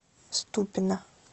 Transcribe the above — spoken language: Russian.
ступино